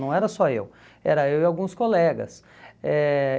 Não era só eu, era eu e alguns colegas. Eh